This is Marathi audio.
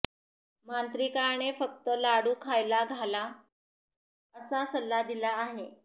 मांत्रिकाने फक्त लाडू खायला घाला असा सल्ला दिला आहे